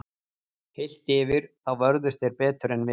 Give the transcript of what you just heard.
Heilt yfir þá vörðust þeir betur en við.